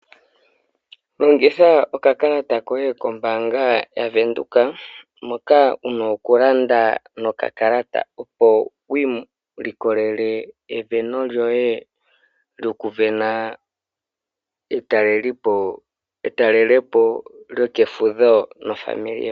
Longitha okakalata koye kombaanga yaVenduka moka wu na okulanda nokakalata, opo wi ilikolele esindano lyoye lyokusindana etalelopo lyokefudho naakwanezimo lyoye.